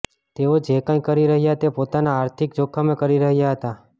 તેઓ જે કંઈ કરી રહ્યા હતા તે પોતાના આર્થિક જોખમે કરી રહ્યા હતા